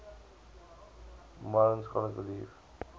modern scholars believe